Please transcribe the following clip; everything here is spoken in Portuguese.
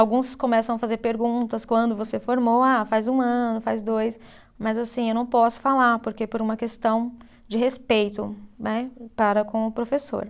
Alguns começam a fazer perguntas quando você formou, ah, faz um ano, faz dois, mas assim, eu não posso falar, porque é por uma questão de respeito, né, para com o professor.